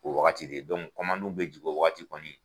O wagati de bɛ jigi o wagati kɔni